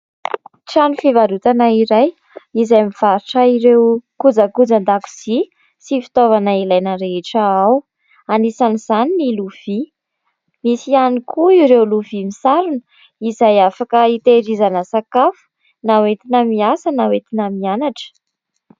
Trano fivarotana iray izay mivarotra ireo kojakojan-dakozia sy fitaovana ilaina rehetra ao. Anisan'izany ny lovia. Misy ihany koa ireo lovia misarona izay afaka hitairizana sakafo na entina miasa na entina mianatra.